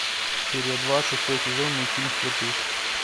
серия два шестой сезон мультфильм сваты